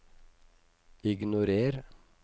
ignorer